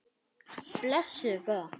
Blessuð góða.